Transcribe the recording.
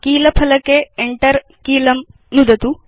कील फलके Enter कीलं नुदतु